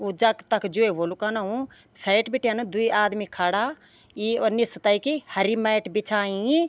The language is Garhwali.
वो जख तख ज्वै होलु कनऊ साइड बिटेन द्वि आदमी खड़ा ई और निस्सू तैकी हरी मैट बिछायीं।